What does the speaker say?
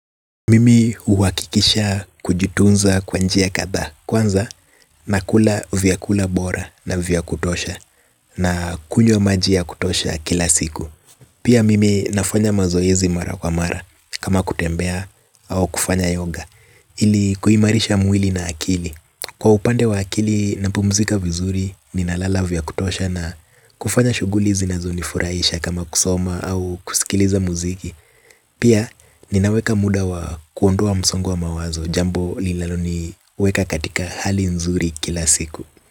Mimi uwakikisha kujitunza kwa njia kadha kwanza nakula vyakula bora na vya kutosha na kunywa maji ya kutosha ya kila siku. Pia mimi nafanya mazoezi mara kwa mara kama kutembea au kufanya yoga ili kuhimarisha mwili na akili. Kwa upande wa akili na pumuzika vizuri ninalala vya kutosha na kufanya shuguli zinazonifurahisha kama kusoma au kusikiliza muziki. Pia ninaweka muda wa kuondoa msongo wa mawazo jambo linalaloni weka katika hali nzuri kila siku.